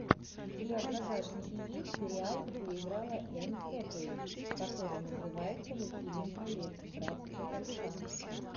у тебя в загашнике есть сериал где играла энн хэтэуэй который называется властелин колец братство кольца